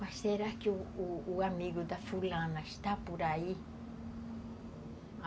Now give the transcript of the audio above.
Mas será que o o amigo da fulana está por aí?